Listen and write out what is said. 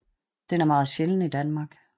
Den er meget sjælden i Danmark